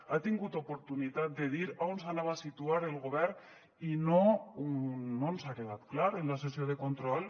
ha tingut oportunitat de dir on s’anava a situar el govern i no ens ha quedat clar en la sessió de control